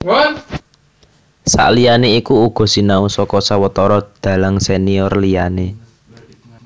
Saliyané iku uga sinau saka sawetara dhalang senior liyané